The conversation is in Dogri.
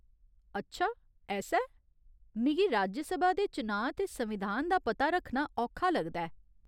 अच्छा ऐसा ऐ। मिगी राज्य सभा दे चुनांऽ ते संविधान दा पता रक्खना औखा लगदा ऐ।